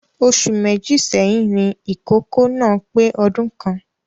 Oṣù Méjì sẹ́yìn ni ìkókó náà pé ọdún kan